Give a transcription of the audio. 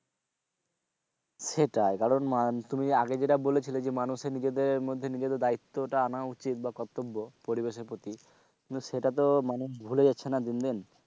সেটাই কারণ তুমি আগে যা বলেছিলে যে মানুষ নিজেদের মধ্যে নিজেদের যে দায়িত্বটা আনা উচিত বা কর্তব্য পরিবেশের প্রতি কিন্তু সেটাতো মানে ভুলে যাচ্ছে না দিন দিন,